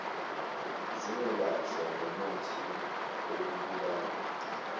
zingelashwa ngomuthi wokubulala